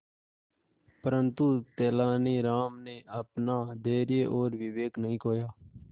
परंतु तेलानी राम ने अपना धैर्य और विवेक नहीं खोया